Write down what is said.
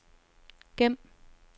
gem